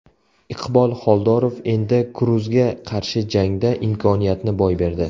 Iqbol Xoldorov Endi Kruzga qarshi jangda imkoniyatni boy berdi.